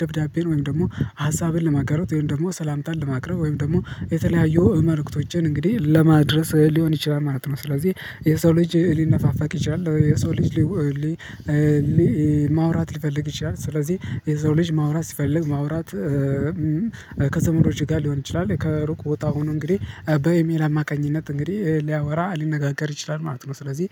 ደብዳቤን ወይም ደግሞ ሀሳብን ለማጋራት ወይም ደግሞ ሰላምታን ለማቅረብ ወይም ደግሞ የተለያዩ መልእክቶችን እንግዲህ ለማድረስ ሊሆን ይችላል ማለት ነው። ስለዚህ የሰው ልጅ ሊነፋፋቅ ይችላል። የሰው ልጅ ሊው ማውራት ሊፈልግ ይችላል። ስለዚህ የሰው ልጅ ማውራት ሲፈልግ ማውራት ከዘመዶች ጋር ሊሆን ይችላል። ከሩቅ ቦታ ሆኖ እንግዲህ በኢሜል አማካኝነት እንግዲህ ሊያወራ ሊነጋገር ይችላል። ማለት ነው። ስለዚህ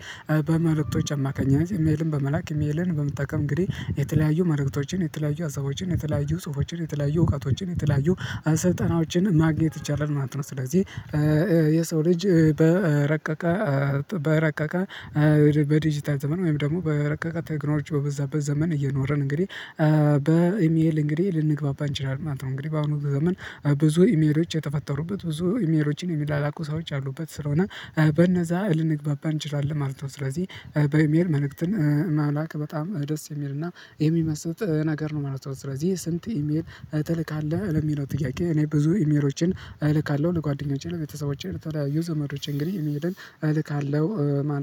በመልእክቶች አማካኝነት ኢሜልን በመላክ ኢሚልን በመጠቀም እንግዲህ የተለያዩ መልእክቶችን የተለያዩ ሀሳቦችን የተለያዩ ጽሁፎችን የተለያዩ እውቀቶችን የተለያዩ ስልጠናዎችን ማግኘት ይቻላል። ማለት ነው። ስለዚህ የሰው ልጅ በረቀቀ በረቀቀ በዲጂታል ዘመን ወይም ደግሞ በረቀቀ ቴክኖሎጂ በበዛበት ዘመን እየኖርን እንግዲህ በኢሜል እንግዲህ ልንግባባ እንችላለን ማለት ነው። እንግዲህ በአሁኑ በዘመን ብዙ ኢሜሎች የተፈጠሩበት ብዙ ኢሜሎችን የሚላኩ ሰዎች አሉበት ስለሆነ በነዛ ልንግባባ እንችላለን ማለት ነው። ስለዚህ በኤሚል መልእክትን መላክ በጣም ደስ የሚልና የሚመስጥ ነገር ነው ማለት ነው። ስለዚህ ስንት ኢሜል ትልካለህ? ለሚለው ጥያቄ እኔ ብዙ ኢሜሎችን እልካለሁ ለጓደኞቼ ለቤተሰቦቼ ለተለያዩ ዘመዶቼ እንግዲህ ኢሚልን እልካለሁ ማለት